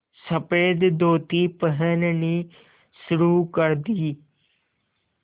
सफ़ेद धोती पहननी शुरू कर दी